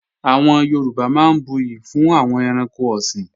Àwọn Yorùbá máa ń buyè fún àwọn ẹranko ọ̀sìn